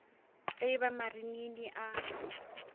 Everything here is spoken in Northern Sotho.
ge e ba marinini a